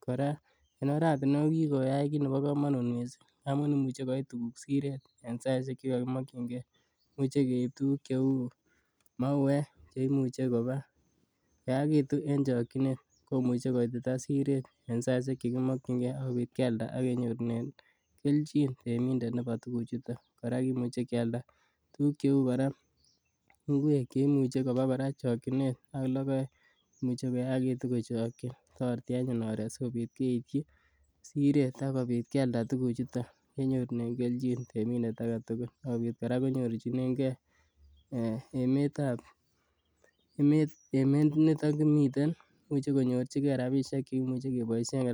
Kora en ortinuek ko kikoyai kit nebo komanut missing amuun imuche koit tuguk Siret en saisek chekimokiennge. Imuche keib tukuk cheuu mauwek cheimuche kobakoyakitun en chokchinet. Komuche koba Siret en saisek chekimokiennge. Kialda akenyorunen kelchin reminder nebo tukuchuton akimuche kialda tukuk cheuu nguek cheimuche kobaa en chokchinet ak lokoek, imuche koyagitu kochakchi toreti anyun oret, sikobit keityi Siret akialda tuguk chuton akenyorunen kelchin temindet aketugul.